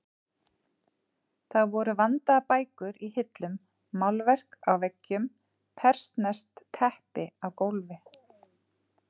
Það voru vandaðar bækur í hillum, málverk á veggjum, persneskt teppi á gólfi.